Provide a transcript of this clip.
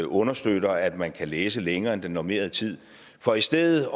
understøtter at man kan læse længere end den normerede tid for i stedet